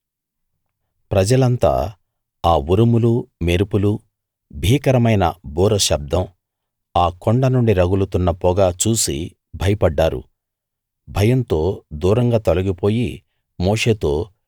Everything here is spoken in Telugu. ప్రజలంతా ఆ ఉరుములు మెరుపులు భీకరమైన బూర శబ్దం ఆ కొండ నుండి రగులుతున్న పొగ చూసి భయపడ్డారు భయంతో దూరంగా తొలగిపోయి మోషేతో